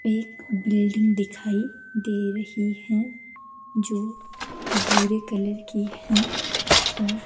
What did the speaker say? एक बिल्डिंग दिखाइ दे रही है जो भूरे कलर की है और--